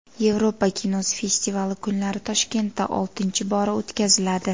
Yevropa kinosi festivali kunlari Toshkentda oltinchi bora o‘tkaziladi.